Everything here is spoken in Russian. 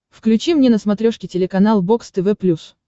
включи мне на смотрешке телеканал бокс тв плюс